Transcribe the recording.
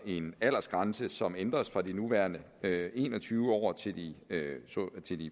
en aldersgrænse som ændres fra de nuværende en og tyve år til de